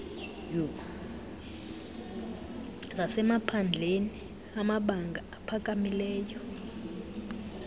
zasemaphandleni amabanga aphakamileyo